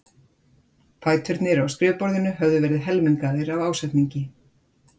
Fæturnir á skrifborðinu höfðu verið helmingaðir af ásetningi.